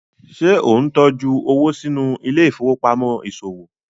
ṣe o ntọjú owo sínú Ile-ifowopamọ iṣowo?